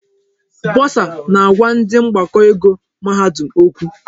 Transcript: Bọsa na-agwa ndị mgbakọ ego mahadum okwu.